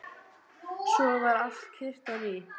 Svo varð allt kyrrt á ný.